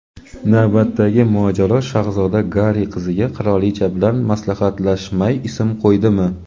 Navbatdagi mojaro: shahzoda Garri qiziga qirolicha bilan maslahatlashmay ism qo‘ydimi?.